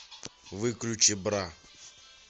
выключи бра